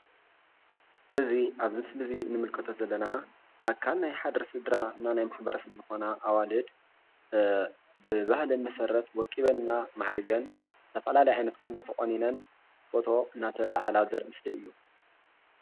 እዚ ኣብዚ ምስሊ እዚ እንምልከቶ ዘለና ኣካል ናይ ሓደ ስድራ ናይ ማሕበረ ሰብ ዝኮና ኣዋልድ ብባህለን መሰረት ወቂበን እና ማዕሪገን ዝተፈላለየ ዓይነት ቁኖ ተቆኒነን ፎቶ እንዳተላዓላ ዘርኢ ምስሊ እዩ፡፡